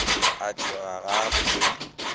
a tšhoga ga a bolele